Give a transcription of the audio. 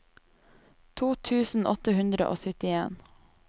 to tusen åtte hundre og syttien